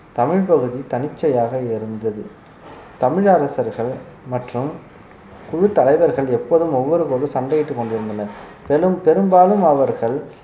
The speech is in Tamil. தமிழ் பகுதி தனிச்சையாக இருந்தது தமிழ் அரசர்கள் மற்றும் குழு தலைவர்கள் எப்போதும் ஒவ்வொருக்கொருவர் சண்டையிட்டு கொண்டிருந்தனர் மேலும் பெரும்பாலும் அவர்கள்